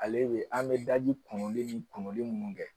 Ale bɛ an bɛ daji kuruli ni kuruni minnu kɛ